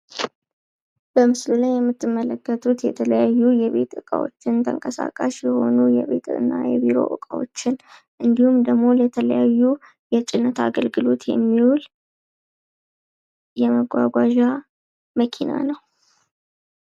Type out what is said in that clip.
በምስሉ ላይ የምትመለከቱት የተለያዩ የቤት እቃዎችን ተንቀሳቃሽ የሆኑ የቢሮ እቃዎችን እንዲሁም ደሞ ለተለያዩ የጭነት አገልግሎት ለመጓጓዣ የሚል መኪና ነው።